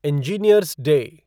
engineer's day